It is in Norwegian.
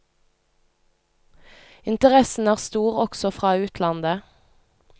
Interessen er stor også fra utlandet.